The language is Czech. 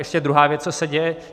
Ještě druhá věc, co se děje.